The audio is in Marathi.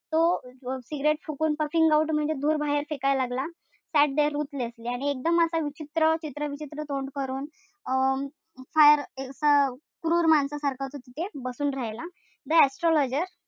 तो cigarette फुकून puffing out म्हणजे धूर बाहेर फेकायला लागला. Sat there ruthlessly आणि एकदम असा विचित्र चित्रविचित्र तोंड करून अं बाहेर असा क्रूर माणसासारखा असा तिथे बसून राहिला. The astrologer,